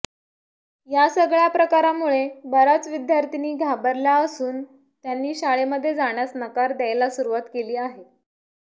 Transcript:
या सगळ्या प्रकारामुळे बऱ्याच विद्यार्थिनी घाबरल्या असून त्यांनी शाळेमध्ये जाण्यास नकार द्यायला सुरुवात केली आहे